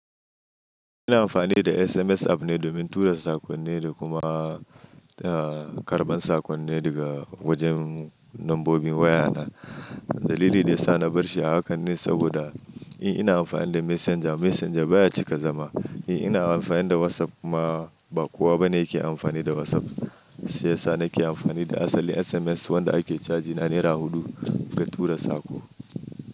Ina amfani da SMS app ne domin tura saƙonne da kuma, ah, karɓar saƙonne daga wajen nombobin waya na. Dalili da ya sa na bar shi a hakan ne saboda in ina amfani da Messenger, Messenger baya cika zama. In ina amfani da WhatsApp kuma ba kowa ba ne yake amfani da WhatsApp. Shi ya sa nake amfani da asalin SMS wanda ake caji na naira huɗu ga tura saƙo.